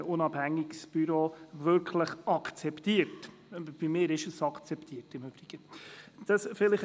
Zudem ist das Büro BASS nicht in allen Kreisen als wirklich unabhängig akzeptiert – bei mir ist es das übrigens.